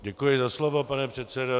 Děkuji za slovo, pane předsedo.